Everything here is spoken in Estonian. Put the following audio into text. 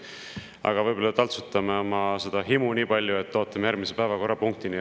Aga võib-olla taltsutame seda himu nii palju, et ootame järgmise päevakorrapunktini.